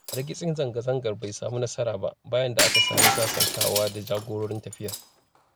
Hargitsin zanga-zangar bai sami nasara ba, bayan da aka sami sasantawa da jagororin tafiyar.